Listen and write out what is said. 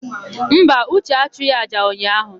Mba, Uche achụghị àjà ụnyaahụ.